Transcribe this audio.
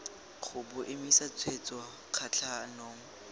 ga bo emise tshwetso kgatlhanong